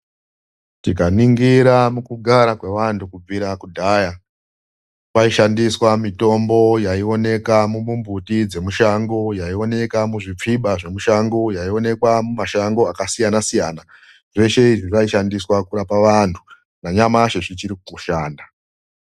Tikaningira mukugara kwevantu kubvira kudhaya, kwaishandiswa mitombo yaiwoneka mumimbuti dzemishango, yaivonekwa muzvipfiba zvemushango uye yaionekwa mumashango akasiyana siyana zveshe izvi, zvaishandiswa kurapa vantu nanyamashi zvichirikushanda.